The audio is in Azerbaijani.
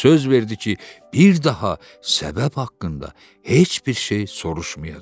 Söz verdi ki, bir daha səbəb haqqında heç bir şey soruşmayacaq.